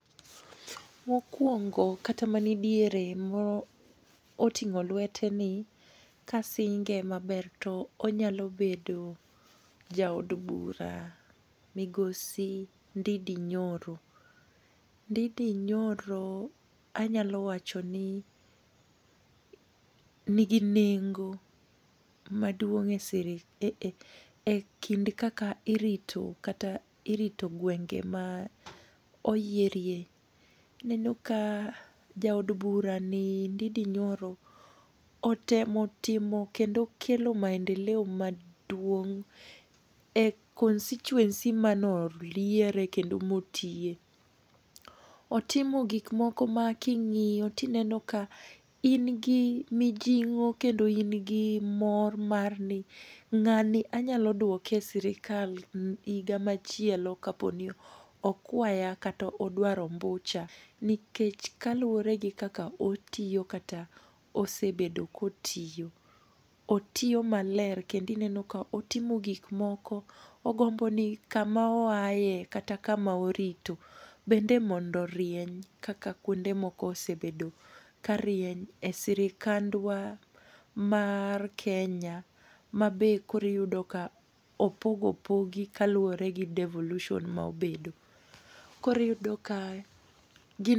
Mokuongo kata manidiere moting'o lueteni, kasinge maber to onyalo bedo jaod bura migosi Ndindi Nyoro. Ndindi Nyoro anyalo wacho ni ni in nengo maduong' e sirik ekind kaka irito gwenge ma oyierie. Ineno ka jaod burani Ndindi Nyoro otemo timo kendo kelo maendeleo maduong' e constituency mane oyiere kendo motiye. Otimo gik moko ma king'iyo to ineno ka in gi mijing'o kendo in gi mor mar ni ng'ani anyalo duoke e sirikal higa machielo kaponi okwaya kata odwaro ombucha nikech kaluwore gi kaka otiyo kata osebedo kotiyo, otiyo maler kendo ineno ka otimo gik moko, ogombo ni kama oaye kata kama orito bende mondo orieny kaka kuonde moko osebedo karieny e sirikandwa mar Kenya ma be koro iyudo ka opog opogi kaluwore gi devolution ma obedo koro iyudo ka gin